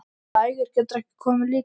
Verst að Ægir getur ekki komið líka.